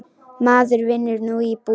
Maður vinnur nú í búð.